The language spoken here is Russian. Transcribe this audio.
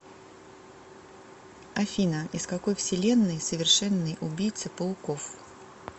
афина из какой вселенной совершенный убийца пауков